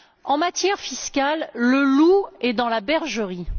En matière fiscale, le loup est dans la bergerie.